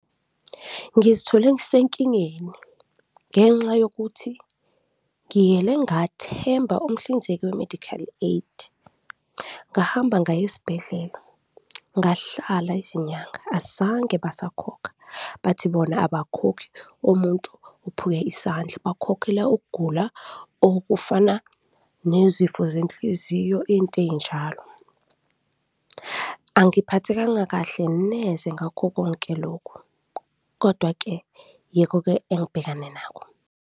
Ngizithole ngisenkingeni ngenxa yokuthi ngiyele ngathemba umhlinzeki we-medical aid, ngahamba ngaya esibhedlela ngahlala izinyanga, azange basakhokha. Bathi bona abakhokhi omuntu uphuke isandla, bakhokhela ukugula okufana nezifo zenhliziyo, into ey'njalo. Angiphathekanga kahle neze ngakho konke lokhu kodwa-ke yikho-ke engibhekane nakho.